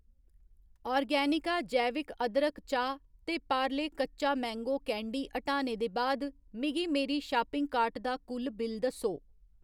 Organica जैविक अदरक चाह् ते पार्ले कच्चा मैंगो कैंडी हटाने दे बाद मिगी मेरी शापिंग कार्ट दा कुल बिल दस्सो